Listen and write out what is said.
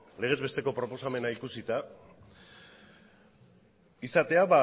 legez besteko proposamena ikusita izatea